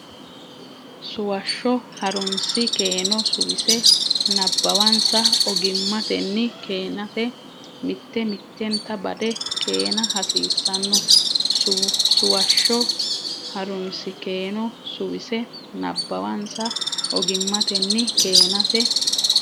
Suwashsho Ha runsi keeno suwise nabbawansa ogimmatenni keenate mitte mittenta bade keena hasiissanno Suwashsho Ha runsi keeno suwise nabbawansa ogimmatenni keenate.